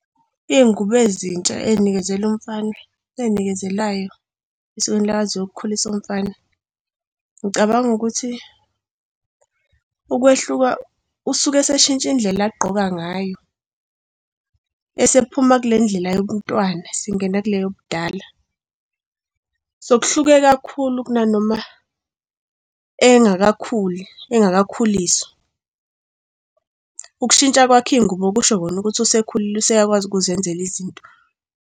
Iy'ngubo ezintsha ey'nikezelwa umfana, ey'nikezelayo esikweni lakaZulu ukukhulisa umfana. Ngicabanga ukuthi ukwehluka, usuke esetshintsha indlela agqoka ngayo esephuma kule ndlela yobuntwana singena kule yobudala. So kuhluke kakhulu kunanoma engakakhuli, engakakhuliswa. Ukushintsha kwakhe iy'ngubo kusho kona ukuthi usekhulile useyakwazi ukuzenzela izinto.